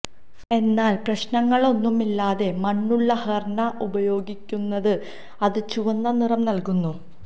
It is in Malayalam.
എന്നാൽ പ്രശ്നങ്ങളൊന്നുമില്ലാതെ മണ്ണുള്ള ഹെർന ഉപയോഗിക്കുന്നത് അത് ചുവന്ന നിറം നൽകുന്നു